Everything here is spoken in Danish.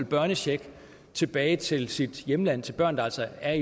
børnecheck sendt tilbage til sit hjemland til børn der altså er